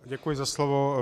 Děkuji za slovo.